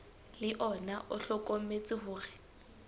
le ona o hlokometse hore